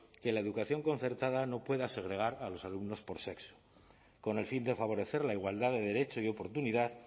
que la educación concertada no pueda segregar a los alumnos por sexo con el fin de favorecer la igualdad de derecho y oportunidad